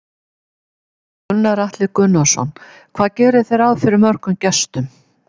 Gunnar Atli Gunnarsson: Hvað gerið þið ráð fyrir mörgum gestum?